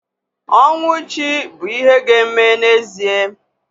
Ọnwụ chi bụ ihe ga-eme n'ezie